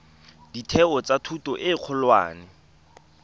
ditheo tsa thuto e kgolwane